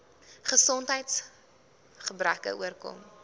gesondheids gebreke oorkom